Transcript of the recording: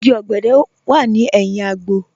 Ìgí ogèdè wà ní èhìn àgbò.